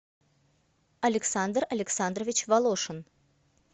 александр александрович волошин